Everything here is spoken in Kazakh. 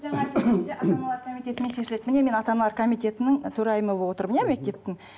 ата аналар комитетімен шешіледі міне мен ата аналар комитетінің төрайымы болып отырмын иә мектептің